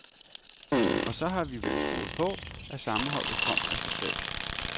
Og så har vi vel troet på, at sammenholdet kom af sig selv.